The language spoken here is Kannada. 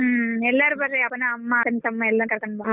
ಹ್ಮ್ ಎಲ್ಲರೂ ಬರ್ರಿ ಅಪ್ಪನ ಅಮ್ಮ ಅಕ್ಕ ತಮ್ಮ ಎಲ್ಲಾ ಕರ್ಕೊಂಡ್ ಬಾ.